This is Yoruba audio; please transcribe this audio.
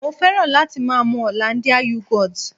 Mo fẹ́ràn láti máa mu Hollandia Yogurt